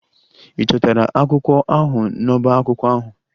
Ị chọtara akwụkwọ ahụ n'ọbá akwụkwọ ahụ?